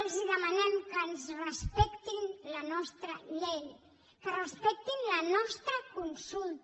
els demanem que ens respectin la nostra llei que respectin la nostra consulta